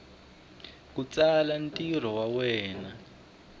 ku tsala ntirho wa wena